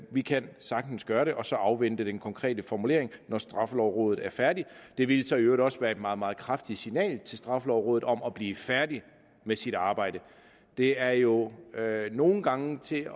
vi kan sagtens gøre det og så afvente den konkrete formulering når straffelovrådet er færdig det ville så i øvrigt også være et meget meget kraftigt signal til straffelovrådet om at blive færdig med sit arbejde det er jo nogle gange til at